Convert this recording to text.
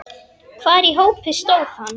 Hvar í hópi stóð hann?